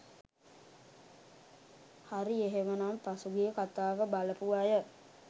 හරි එහෙමනම් පසුගිය කතාව බලපු අය